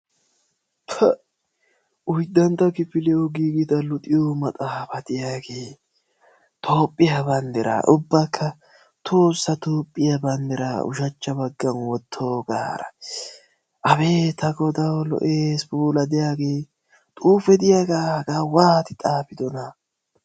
Pa'a! oyddantta kifilyawu giigidage hage toophiya bandira ubbakka tohossa toophiya bandira ushacha baggan wotoogara abeeti tagodaw lo"eesi! xuufe diyaage la hagaa waatidi xaafidona!